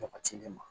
Jabatilen ma